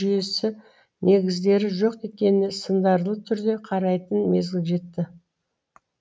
жүйесі негіздері жоқ екеніне сындарлы түрде қарайтын мезгіл жетті